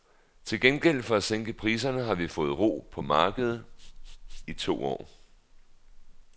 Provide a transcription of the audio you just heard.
Til gengæld for at sænke priserne har vi fået ro på markedet i to år.